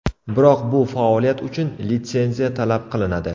Biroq bu faoliyat uchun litsenziya talab qilinadi.